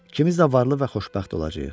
Kimiz də varlı və xoşbəxt olacağıq.